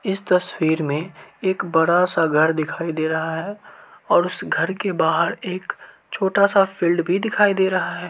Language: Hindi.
इस तस्वीर मे एक बड़ा-सा घर दिखाई दे रहा है और उस घर के बाहर एक छोटा-सा फील्ड भी दिखाई दे रहा है।